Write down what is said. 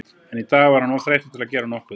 En í dag var hann of þreyttur til að gera nokkuð.